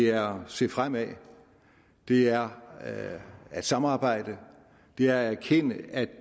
er at se fremad det er at er at samarbejde det er at erkende at